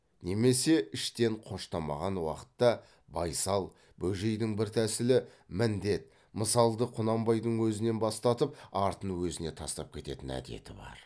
немесе іштен қоштамаған уақытта байсал бөжейдің бір тәсілі міндет мысалды құнанбайдың өзінен бастатып артын өзіне тастап кететін әдеті бар